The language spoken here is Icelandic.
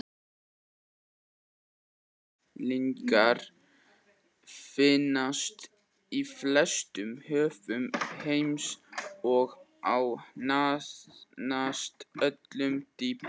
manganhnyðlingar finnast í flestum höfum heims og á nánast öllu dýpi